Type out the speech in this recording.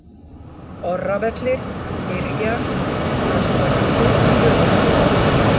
Orravellir, Yrjar, Þrastalundur, Höfuðból